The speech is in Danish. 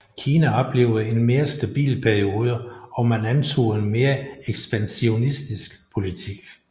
Kina oplevede en mere stabil periode og man antog en mere ekspansionistisk politik